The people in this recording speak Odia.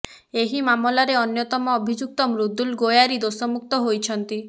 ଏହି ମାମଲାରେ ଅନ୍ୟତମ ଅଭିଯୁକ୍ତ ମୃଦୁଳ ଗୋୟାରି ଦୋଷମୁକ୍ତ ହୋଇଛନ୍ତି